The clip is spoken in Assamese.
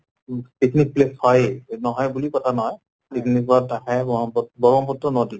উ picnic place হয়ে, নহয় বুলি কথা নহয়। picnic ত আহি ব্ৰহ্মপুত্ ব্ৰহ্মপুত্ৰ নদী